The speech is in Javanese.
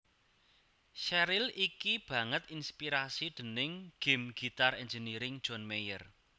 Sheryl iki banget inspirasi déning game Guitar Engineering John Mayer